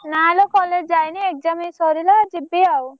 ନା ଲୋ college ଯାଇନି exam ଏଇ ସାରିଲା ଯିବି ଆଉ।